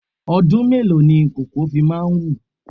Ọdún mélòó ni koko fi máa ń wù?